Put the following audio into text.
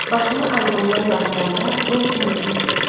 Başını albomdan qaldıranda Lord Henrini gördü.